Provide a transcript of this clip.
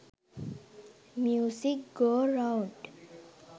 music go round